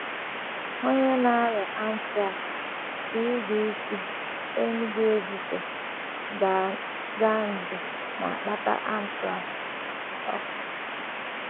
Onye na - arịa anthrax: CDC, Enugu-Ezike, Ga.; nje na - akpata anthrax: © Dr um.